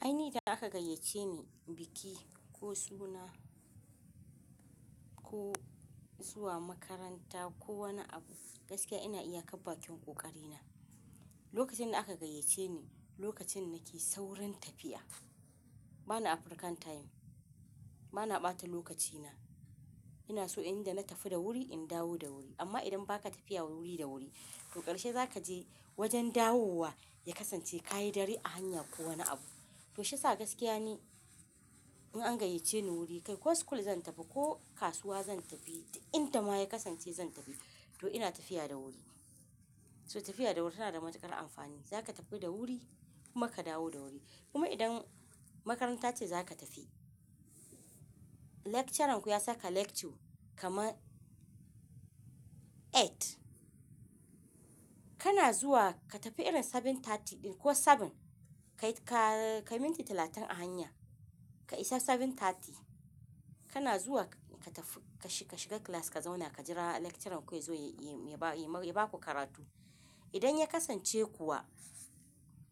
Ainihi da aka gayyace ni biki ko suna ko zuwa makaranta ko wani abu gaskiya ina iya karba kyaw ƙoƙari na. Lokacin da aka gayyace ni lokacin nake sauran tafiya bana African time bana ɓata lokaci na ina so inda na tafi da wuri in dawo da wuri amma idan baka tafiya wuri da wuri to ƙarshe zaka je wajen dawowa ya kasance ƙayyadarre a hanya ko wani abu. To shi sa gaskiya ne in an gayyace ni wuri kai ko school zan tafi ko kasuwa zan tafi da inda ma ya kasance zan tafi to ina tafiya da wuri. So tafiya da wuri tana da matuƙar amfani zaka tafi da wuri kuma ka dawo da wuri kuma idan makaranta ce za ka tafi lecturern ku ya saka lecture kama eight kana zuwa ka tafi irin seven thirty ɗin ko seven kai ka kai minti talatin a hanya ka isa seven thirty kana zuwa ka tafi ka shiga class ka zauna ka jira lecturer ku ya zo ya ba ku karatu. Idan ya kasance kuwa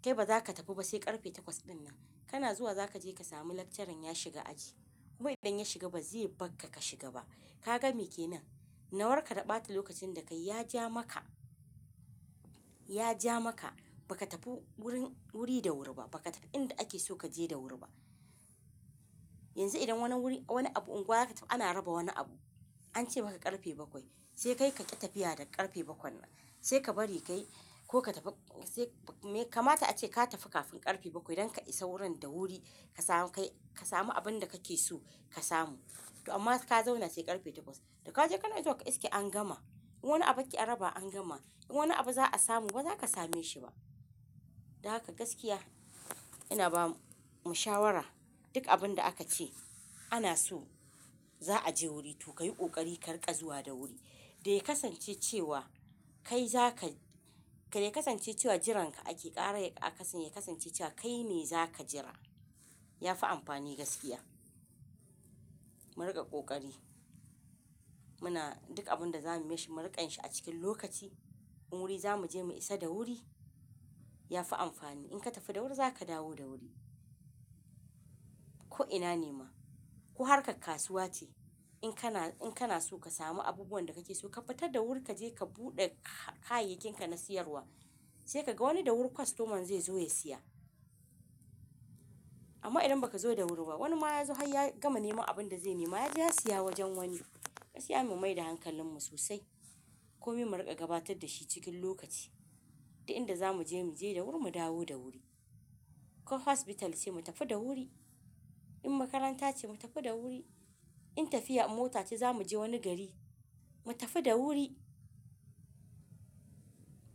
kai baza ka tafi ba sai ƙarfe takwas ɗin nan kana zuwa zaka je ka samu lecturer ya shiga aji kuma idan ya shiga ba zai bar ka ka shiga ba. Ka ga me kenan? Nawar ka ta ɓata lokacin da kai ya ja maka, ya ja maka baka tafi wurin wuri da wuri ba baka tafi inda ake so ka je da wuri ba. Yanzu idan wani wuri wani abu unguwa aka ana raba wani abu an ce maka ƙarfe bakwai sai kai ka ƙi tafiya da ƙarfe bakwai na sai ka bari kai ko ka tafi sai me kamata ace ka tafi kafin ƙarfe bakwai don ka isa wurin da wuri ka samu kai ka samu abun da kake so ka samu. To amma ka zauna sai ƙarfe takwas da ka je kana izuwa ka iske an gama. In wani abu ake rabawa an gama in wani abu za a samu baza ka same shi ba. Dan haka gaskiya ina ba mu shawara duk abun da aka ce ana so za a je wuri to ka yi ƙoƙari ka riƙa zuwa da wuri. Da ya kasance cewa kai zaka da ya kasance cewa jiran ka ake ƙara ya kasance cewa kai me za ka jira ya fi amfani gaskiya. Mu riƙa ƙoƙari muna duk abun da zamu yi mu riƙan shi a cikin lokaci. In wuri zamu je mu isa da wuri ya fi amfani. In ka tafi da wuri zaka dawo da wuri. Ko ina ne ma ko har ka kasuwa ce in kana in kana so ka samu abubuwan da kake so ka fitar da wuri ka je ka buɗe kayayyakinka na siyarwa sai ka ga wani da wuri customer zai zo ya siya. Amma idan baka zo da wuri ba wani ma ya zo har ya gama nema abun da zai nema ya je ya siya wajen wani. Ka siya mu mai da hankalin mu sosai. Ko mi mu riƙa gabatar da shi cikin lokaci da inda zamu je mu je da wuri mu dawo da wuri. Ko hospital ce mu tafi da wuri in makaranta ce mu tafi da wuri in tafiya a mota ce zamu je wani gari mu tafi da wuri.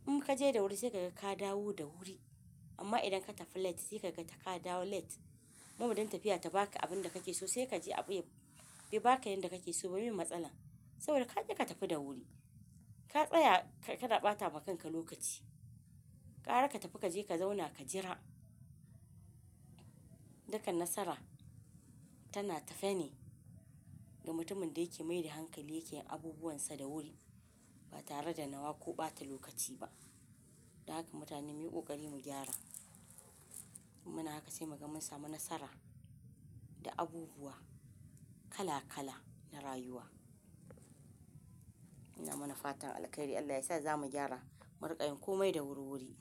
In kaje da wuri sai kaga ka dawo da wuri amma idan ka tafi late sai kaga ka dawo late. Mama ɗin tafiya ta baka abun da kake so sai kaje abu ya bai baka yanda kake so ba miye matsala saboda kaki ka tafi da wuri. Ka tsaya ka ɗa ɓata ma kanka lokaci. Ƙara ka tafi kaje ka zauna ka jira dukan nasara tana tafene ga mutumin da yake mai da hankali yake abubuwan sa da wuri ba tare da nawa ko ɓata lokaci ba. Dan haka mutane muyi ƙoƙari mu gyara. Muna haka sai mu ga mun samu nasara da abubuwa kala kala na rayuwa. Ina mana fatan alkairi Allah yasa zamu gyara mu riƙa yin komai da wuri wuri.